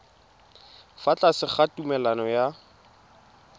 fa tlase ga tumalano ya